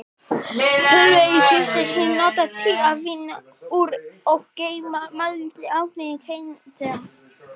Tölvur í fyrsta sinn notaðar til að vinna úr og geyma mældan árangur keppenda.